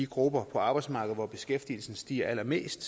grupper på arbejdsmarkedet for hvem beskæftigelsen stiger allermest